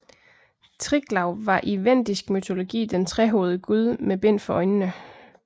Triglav var i vendisk mytologi den trehovedede gud med bind for øjnene